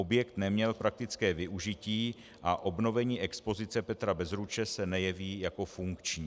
Objekt neměl praktické využití a obnovení expozice Petra Bezruče se nejeví jako funkční.